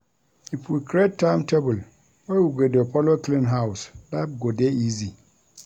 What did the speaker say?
If we create timetable wey we go dey folo clean house, life go dey easy.